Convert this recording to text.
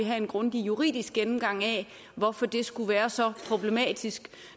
have en grundig juridisk gennemgang af hvorfor det skulle være så problematisk